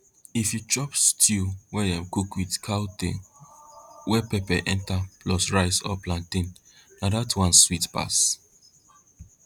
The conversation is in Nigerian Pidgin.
if you chop stew wey dem cook with cow tail wey pepper enter plus rice or plantain na dat one sweet pass